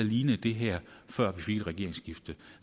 lignede det her før vi fik et regeringsskifte